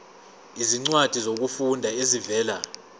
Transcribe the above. izincwadi zokufunda ezivela